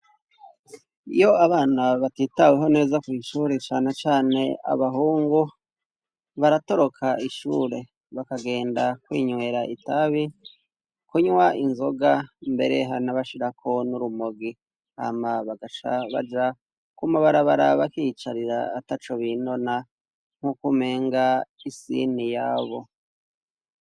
Iyo abana batitaweho neza kw'ishure cane cane abahungu, baratoroka ishure bakagenda kwinywera itabi, kunywa inzoga mbere hari naho bashirako n'urumogi, hama bagaca baja kumabarabara bakiyicarira ataco binona nkuko umenga isi niyabo.